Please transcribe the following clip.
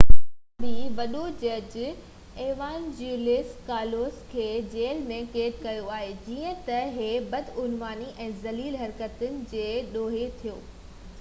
اڃا بہ وڏو جج ايوانجيلوس ڪالوسس کي جيل ۾ قيد ڪيو آهي جيئن تہ هي بدعنواني ۽ ذليل حرڪتن جي ڏوهي ٿيو